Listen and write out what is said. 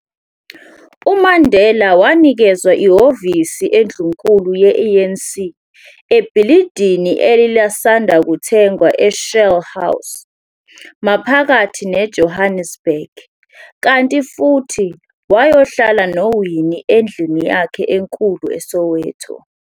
UMandela wanikezwa ihhovisi endlunkulu ye-ANC ebhilidini elalisanda kuthengwa eShell House, maphakathi neJohannesburg, kanti futhi wayohlala noWinnie endlini yakhe enkulu eSoweto.